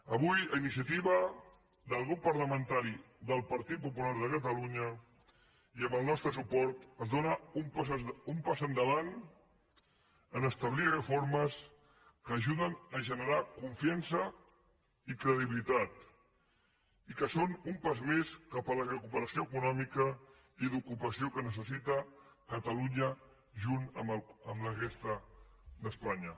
avui a iniciativa del grup parlamentari del partit popular de catalunya i amb el nostre suport es dóna un pas endavant a establir reformes que ajuden a generar confiança i credibilitat i que són un pas més cap a la recuperació econòmica i d’ocupació que necessita catalunya junt amb la resta d’espanya